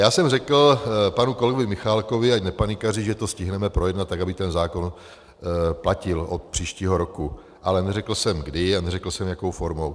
Já jsem řekl panu kolegovi Michálkovi, ať nepanikaří, že to stihneme projednat tak, aby ten zákon platil od příštího roku, ale neřekl jsem kdy a neřekl jsem, jakou formou.